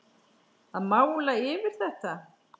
Að mála yfir þetta.